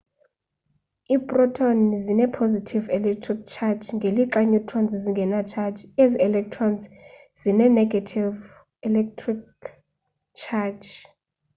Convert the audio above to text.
iprotoni zine positive electric charge ngelixa i neutrons zingena charge ezi electrons zine ne-gative electric charge